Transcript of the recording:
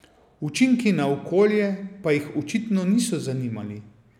Učinki na okolje pa jih očitno niso zanimali.